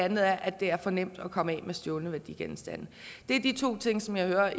anden er at det er for nemt at komme af med stjålne værdigenstande det er de to ting som jeg hører